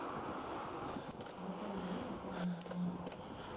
в отеле есть банный комплекс